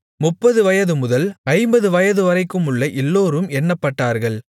முப்பது வயது முதல் ஐம்பது வயது வரைக்குமுள்ள எல்லோரும் எண்ணப்பட்டார்கள்